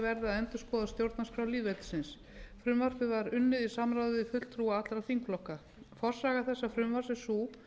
endurskoða stjórnarskrá lýðveldisins frumvarpið er lagt fram af forsætisráðherra en það var unnið í samráði við fulltrúa allra þingflokka forsaga smíði þessa frumvarps er sú